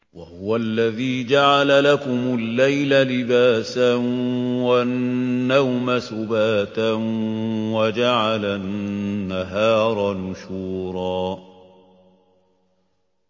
وَهُوَ الَّذِي جَعَلَ لَكُمُ اللَّيْلَ لِبَاسًا وَالنَّوْمَ سُبَاتًا وَجَعَلَ النَّهَارَ نُشُورًا